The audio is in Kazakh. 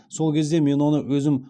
сол кезде мен оны өзім